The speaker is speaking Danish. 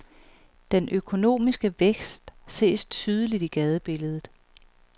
Den økonomiske vækst ses tydeligt i gadebilledet.